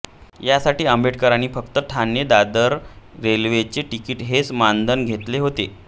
यासाठी आंबेडकरांनी फक्त ठाणेदादर रेल्वेचे तिकीट हेच मानधन घतेले होते